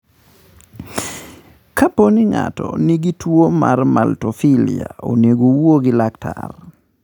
Kapo ni ng'ato nigi tuwo mar maltophilia, onego owuo gi laktar.